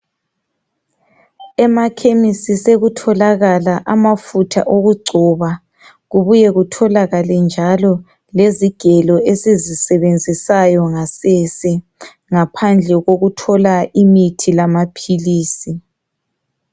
Emakhemesi sokutholakala amafutha okugcoba kubuye kutholakale njalo lezigelo esizisebenzisayo ngasese ngaphandle kokuthola imithi lamaphilisi.